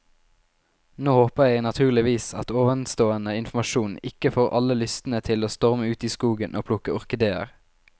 Nå håper jeg naturligvis at ovenstående informasjon ikke får alle lystne til å storme ut i skogen og plukke orkideer.